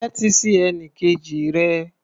Tẹ́tí sí ẹnikejì rẹ.